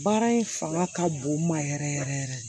Baara in fanga ka bon n ma yɛrɛ yɛrɛ yɛrɛ